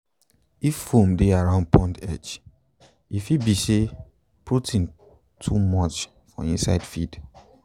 if foam dey around pond edge e fit be say protein too much for inside feed